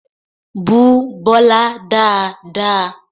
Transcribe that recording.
Bú Bọlá dáadáa!